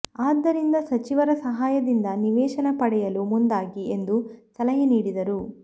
ಆದ್ದರಿಂದ ಸಚಿವರ ಸಹಾಯದಿಂದ ನಿವೇಶನ ಪಡೆಯಲು ಮುಂದಾಗಿ ಎಂದು ಸಲಹೆ ನೀಡಿದರು